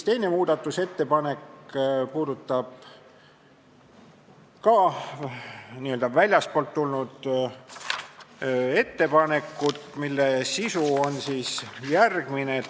Teine muudatusettepanek on ka n-ö väljastpoolt tulnud ettepanek, mille sisu on järgmine.